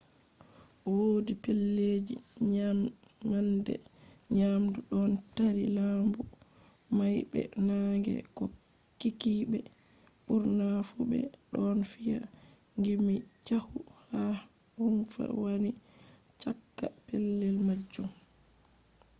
wodi pellelji nyamande nyamdu ɗon tari lambu may be naange ko kikkiɓe ɓurna fu ɓe ɗon fiya gimmi caahu ha rumfa wani cakka pellel majum